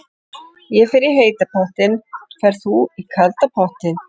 Ég fer í heita pottinn. Ferð þú í kalda pottinn?